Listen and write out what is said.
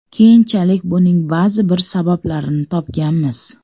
Keyinchalik buning ba’zi bir sabablarini topganmiz.